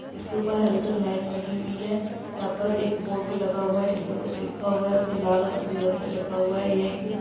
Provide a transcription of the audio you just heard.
जिसके ऊपर halogen light लगी हुई है यहाँ पर एक बोर्ड भी लगा हुआ है जिसपे कुछ लिखा हुआ हैजिसमे लाल और सफेद रंग से लिखा हुआ है। ये एक--